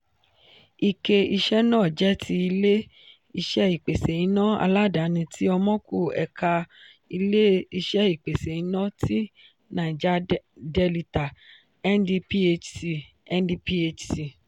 ike iṣẹ́ náà jẹ́ ti ilé-iṣé ìpèsè iná aládàáni tí omoku ẹ̀ka ilé-iṣẹ ìpèsè iná tí naija delita (ndphc) (ndphc)